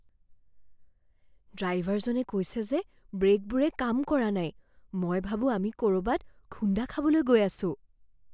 ড্ৰাইভাৰজনে কৈছে যে ব্ৰে'কবোৰে কাম কৰা নাই। মই ভাবো আমি ক'ৰবাত খুন্দা খাবলৈ গৈ আছো।